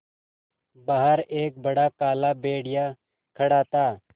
बाहर एक बड़ा काला भेड़िया खड़ा था